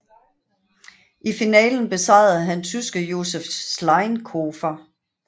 I finalen besejrede han tyske Josef Schleinkofer